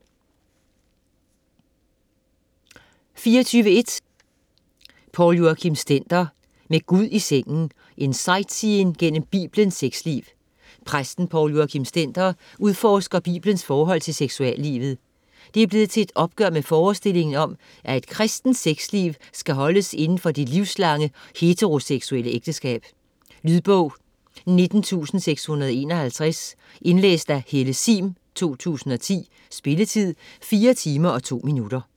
24.1 Stender, Poul Joachim: Med Gud i sengen: en sightseeing gennem Biblens sexliv Præsten Poul Joachim Stender udforsker Bibelens forhold til seksuallivet. Det er blevet til et opgør med forestillingen om, at et kristent sexliv skal holdes inden for det livslange heteroseksuelle ægteskab. Lydbog 19651 Indlæst af Helle sihm, 2010. Spilletid: 4 timer, 2 minutter.